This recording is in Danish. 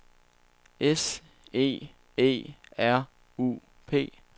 S E E R U P